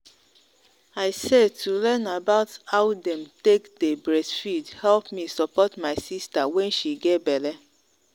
i sayto learn about how them take day breastfeed help me support my sister when she get belle